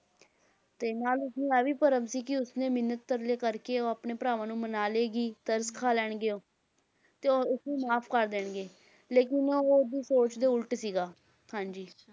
ਤੇ ਨਾਲ ਉਸਨੂੰ ਇਹ ਭਰਮ ਸੀ ਕਿ ਉਸਨੇ ਮਿੰਨਤ ਤਰਲੇ ਕਰਕੇ ਉਹ ਆਪਣੇ ਭਰਾਵਾਂ ਨੂੰ ਮਨਾ ਲਏਗੀ, ਤਰਸ ਖਾ ਲੈਣਗੇ ਉਹ, ਤੇ ਉਹ ਉਸ ਨੂੰ ਮੁਆਫ਼ ਕਰ ਦੇਣਗੇ, ਲੇਕਿੰਨ ਉਹ ਉਸਦੀ ਸੋਚ ਦੇ ਉਲਟ ਸੀਗਾ, ਹਾਂਜੀ